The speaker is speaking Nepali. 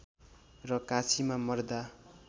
र काशीमा मर्दा